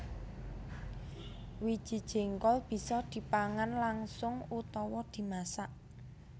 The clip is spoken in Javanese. Wiji jéngkol bisa dipangan langsung utawa dimasak